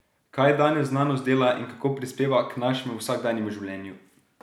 Kaj danes znanost dela in kako prispeva k našemu vsakdanjemu življenju?